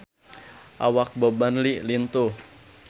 Awak Bob Marley lintuh